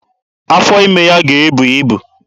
Afọ ime ya ga-ebu ibu.